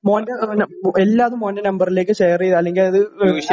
മോന്റെ എല്ലാതും മോന്റെ നമ്പറിലേക്ക് ഷെയർ ചെയ്യ അല്ലെങ്കിൽ അത്